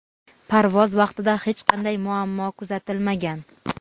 Parvoz vaqtida hech qanday muammo kuzatilmagan.